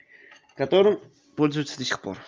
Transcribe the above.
которым пользуются до сих пор